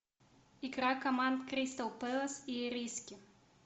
игра команд кристал пэлас и ириски